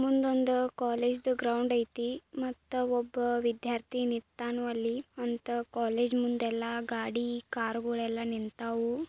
ಮುಂದೊಂದು college ground ಐತಿ ಮತ್ತ ಒಬ್ಬ ವಿದ್ಯಾರ್ಥಿ ನಿತ್ತನೋ ಅಲ್ಲಿ ಅಂತ ಕಾಲೇಜು ಮುಂದೆ ಎಲ್ಲಾ ಗಾಡಿ ಕಾರ್ ಗಳೆಲ್ಲ ನಿಂತಾವೋ--